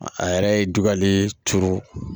A yɛrɛ ye dugalen turu